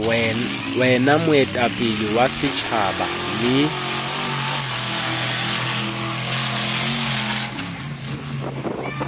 wena moetapele wa setjhaba le